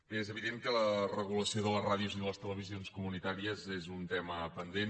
bé és evident que la regulació de les ràdios i de les televisions comunitàries és un tema pendent